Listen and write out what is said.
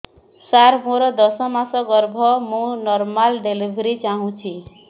ସାର ମୋର ଦଶ ମାସ ଗର୍ଭ ମୁ ନର୍ମାଲ ଡେଲିଭରୀ ଚାହୁଁଛି